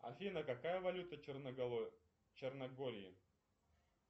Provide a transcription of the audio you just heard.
афина какая валюта в черногории